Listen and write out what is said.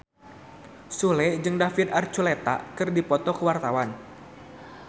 Sule jeung David Archuletta keur dipoto ku wartawan